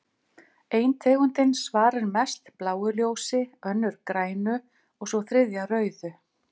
Ein tegundin svarar mest bláu ljósi, önnur grænu og sú þriðja rauðu.